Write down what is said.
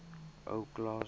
ou klaas